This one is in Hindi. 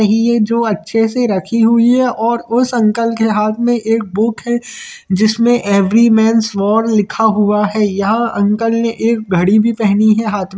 नहीं है जो अच्छे से रखी हुइ है और उस अंकल के हाथ में एक बुक है जिस में एव्री मेंस वॉर लिखा हुआ है यह अंकल ने एक घड़ी भी पहनी हा हाथ में--